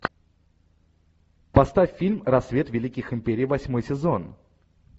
поставь фильм рассвет великих империй восьмой сезон